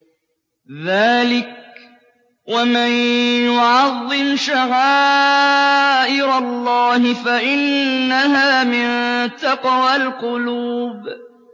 ذَٰلِكَ وَمَن يُعَظِّمْ شَعَائِرَ اللَّهِ فَإِنَّهَا مِن تَقْوَى الْقُلُوبِ